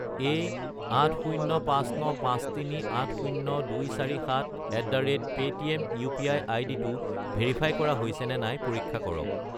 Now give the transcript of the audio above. এই 80595380247@paytm UPI. আইডিটো verify কৰা হৈছেনে নাই পৰীক্ষা কৰক।